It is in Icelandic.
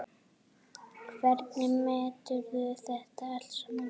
Hvernig meturðu þetta allt saman?